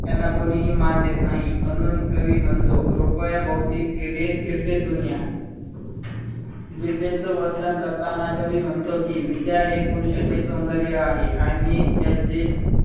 त्यांना कोणीही मान देत नाही म्हणून कवी म्हणतो रुपया भोवती फिर फिरते दुनिया. विद्येचं वर्तन करताना कवी म्हणतो कि विद्या हे पुरुषाचे सौंदर्य आहे. आणि त्याचे